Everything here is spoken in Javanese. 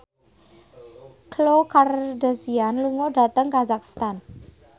Khloe Kardashian lunga dhateng kazakhstan